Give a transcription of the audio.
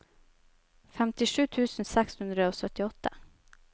femtisju tusen seks hundre og syttiåtte